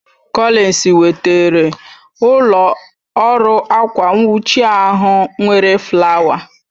Collins wetara ụlọ ọrụ akwa nwuchi ahụ nwere flawa